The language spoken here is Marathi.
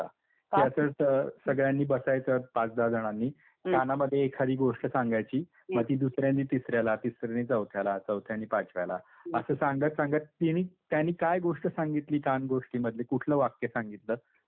त्याच्यात सगळ्यांनी बसायचं पाच दहा जणांनी. कानामध्ये एखादी गोष्ट सांगायची. मग ती दुसऱ्यानी तिसऱ्याला तिसऱ्यानी चौथ्याला चौथ्यानी पाचव्याला. असं सांगत सांगत तिनी त्यांनी काय गोष्ट सांगितली कान गोष्टी मधली, कुठलं वाक्य सांगितलं ते सांगायचं.